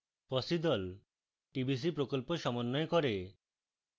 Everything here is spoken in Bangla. fossee the tbc প্রকল্প সমন্বয় করে